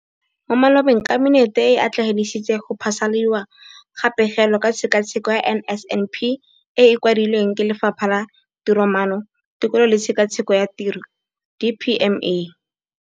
Mo malobeng Kabinete e atlenegisitse go phasaladiwa ga Pegelo ka Tshekatsheko ya NSNP e e kwadilweng ke Lefapha la Tiromaano, Tekolo le Tshekatsheko ya Tiro, DPME].